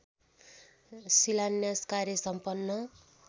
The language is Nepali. शिलान्यास कार्य सम्पन्न